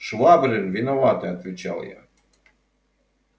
швабрин виноватый отвечал я